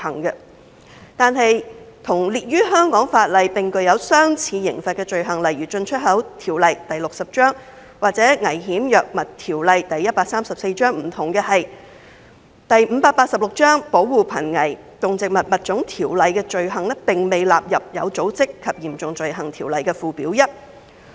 然而，與具有相似刑罰罪行如《進出口條例》和《危險藥物條例》等香港法例不同的是，《保護瀕危動植物物種條例》的走私罪行並未被納入《有組織及嚴重罪行條例》附表1。